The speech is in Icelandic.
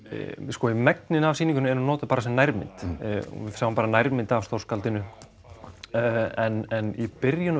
sko í megninu af sýningunni er hún notuð bara sem nærmynd nærmynd af stórkskáldinu en í byrjun